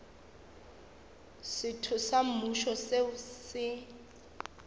setho sa mmušo seo se